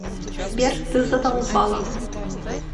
сбер ты задолбала